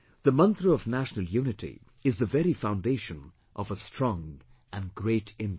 The Mantra of national unity is the very foundation of a strong and great India